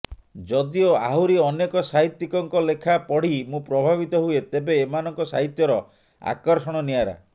ଯଦିଓ ଆହୁରି ଅନେକ ସାହିତ୍ୟିକଙ୍କ ଲେଖା ପଢ଼ି ମୁଁ ପ୍ରଭାବିତ ହୁଏ ତେବେ ଏମାନଙ୍କ ସାହିତ୍ୟର ଆକର୍ଷଣ ନିଆରା